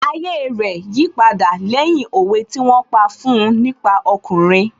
Ayé rẹ̀ yí padà lẹ́yìn òwe tí wón pa fún un nípa ọkùnrin